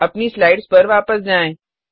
अपनी स्लाइड्स पर वापस जाएँ